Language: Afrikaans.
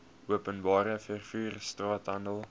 openbare vervoer straathandel